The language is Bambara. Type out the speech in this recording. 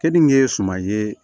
Keninge suma ye